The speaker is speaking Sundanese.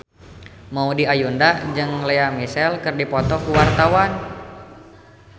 Maudy Ayunda jeung Lea Michele keur dipoto ku wartawan